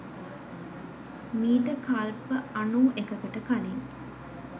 මීට කල්ප අනූ එකකට කලින්